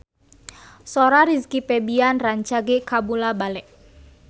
Sora Rizky Febian rancage kabula-bale